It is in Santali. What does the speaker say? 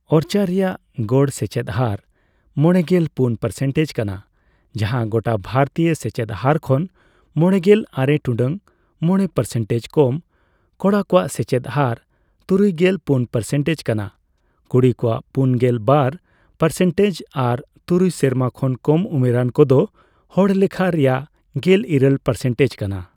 ᱳᱨᱪᱟ ᱨᱮᱭᱟᱜ ᱜᱚᱲ ᱥᱮᱪᱮᱫ ᱦᱟᱨ ᱢᱚᱲᱮᱜᱮᱞ ᱯᱩᱱ ᱯᱟᱨᱥᱮᱱᱴᱮᱡᱽ ᱠᱟᱱᱟ, ᱡᱟᱸᱦᱟ ᱜᱚᱴᱟ ᱵᱷᱟᱨᱛᱤᱭᱚ ᱥᱮᱪᱮᱫ ᱦᱟᱨ ᱠᱷᱚᱱ ᱢᱚᱲᱮᱜᱮᱞ ᱟᱨᱮ ᱴᱩᱰᱟᱹᱜ ᱢᱚᱲᱮ ᱯᱟᱨᱥᱮᱱᱴᱮᱡᱽ ᱠᱚᱢᱺ ᱠᱚᱲᱟ ᱠᱚᱣᱟᱜ ᱥᱮᱪᱮᱫ ᱦᱟᱨ ᱛᱩᱨᱩᱭᱜᱮᱞ ᱯᱩᱱ ᱯᱟᱨᱥᱮᱱᱴᱮᱡᱽ ᱠᱟᱱᱟ, ᱠᱩᱲᱤ ᱠᱚᱣᱟᱜ ᱯᱩᱱᱜᱮᱞ ᱵᱟᱨ ᱯᱟᱨᱥᱮᱱᱴᱮᱡᱽ ᱟᱨ ᱛᱩᱨᱩᱭ ᱥᱮᱨᱢᱟ ᱠᱷᱚᱱ ᱠᱚᱢ ᱩᱢᱮᱨᱟᱱ ᱠᱚᱫᱚ ᱦᱚᱲᱞᱮᱷᱟ ᱨᱮᱭᱟᱜ ᱜᱮᱞᱤᱨᱟᱹᱞ ᱯᱟᱨᱥᱮᱱᱴᱮᱡᱽ ᱠᱟᱱᱟ ᱾